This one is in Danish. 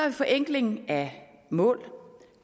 en forenkling af mål